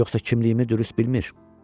Yoxsa kimliyimi dürüst bilmir?